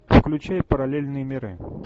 включай параллельные миры